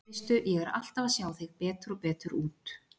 Veistu. ég er alltaf að sjá þig betur og betur út.